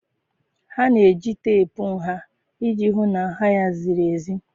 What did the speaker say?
Ha na-eji teepu nha iji hụ na nha ha ziri ezi